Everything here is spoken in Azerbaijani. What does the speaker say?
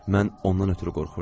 Mən ondan ötrü qorxurdum.